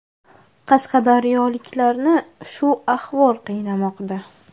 Qashqadaryoliklarni shu savol qiynamoqda.